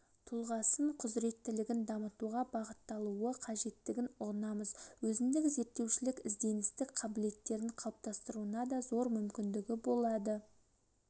тұлғасын құзыреттілігін дамытуға бағытталуы қажеттігін ұғынамыз өзіндік зерттеушілік ізденістік қабілеттерін қалыптасуына да зор мүмкіндігі болады